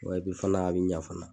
Wa epi fana a bɛ ɲa.